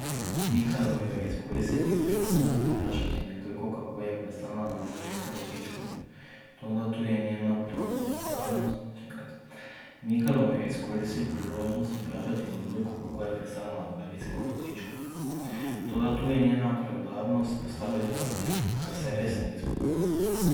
Mikalo jo je izkoristiti priložnost in vprašati Nekdojko, kako je pristala na invalidskem vozičku, toda tu je njena preudarnost postavila zapik, ker se res ne bi spodobilo.